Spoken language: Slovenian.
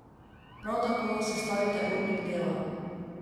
Prav tako sestavite urnik dela.